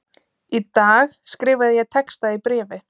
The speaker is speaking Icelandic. Í dag skrifaði ég texta í bréfi:.